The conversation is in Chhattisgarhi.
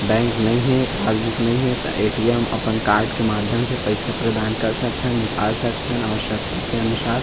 बैंक नहीं हे पासबुक नहीं हे ते ए. टी. एम. अपन कार्ड के माध्यम से पइसा प्रदान कर सकथन निकाल सकथन आवश्यक के अनुसार--